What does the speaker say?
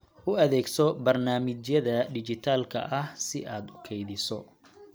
U adeegso barnaamijyada dhijitaalka ah si aad u kaydiso.